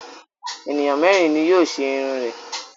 Ènìyàn mẹ́rin ni yóò ṣe irun rẹ.